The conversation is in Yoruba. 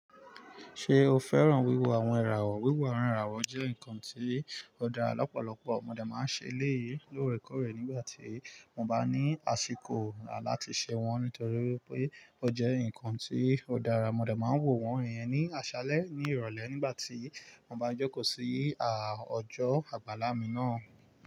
Ṣé o fẹ́ràn wíwọ àwọn ẹràwọ̀? Wíwọ àwọn iràwọ̀ jẹ́ nǹkan tí ó dára lọ́pọ̀lọpọ̀. Mo de máa ń ṣe lé lóòrèkóòrè nígbà tí mo bá ní àsìkò láti ṣe wọ́n, nítorí pé ó jẹ́ nǹkan tí ó dára. Mo de máa ń wọo wọ́n iyẹn ní àṣálẹ́ ní ìrọ̀lẹ́ nígbà tí mo bá ń jókó sí à ojọ àgbàlámì náà.